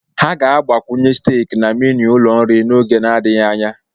Ha ga-agbakwunye staék na meenu ụlọ nri n'oge adịghị anya